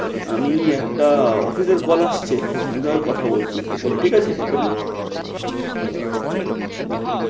আমি একটা office এর call আসছে আমি তোমায় কথা বলছি একটু পরে ঠিক আছে মাধুরী আচ্ছা চল bye